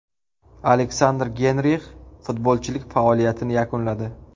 Aleksandr Geynrix futbolchilik faoliyatini yakunladi.